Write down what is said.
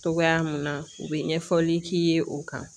Togoya mun na u be ɲɛfɔli k'i ye o kan